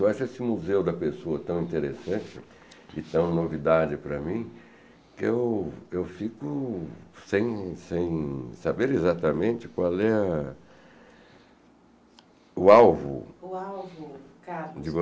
Eu acho esse museu da pessoa tão interessante e tão novidade para mim, que eu fico sem sem saber exatamente qual é o alvo de vocês. O alvo carlos